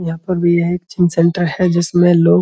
यहाँ पर भी है एक जिम सेंटर है। जिसमे लोग --